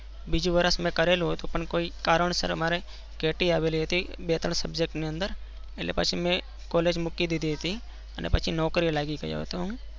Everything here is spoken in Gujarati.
બીજું વરસ મેં કરેલું હતું. પણ કોઈ કારણ વર્ષ Ati આવેલી હતી. એટલે પચે મેં college મુકિ દીધી હતી. ને પછી નોકરીએ લાગી ગયો હતો હું.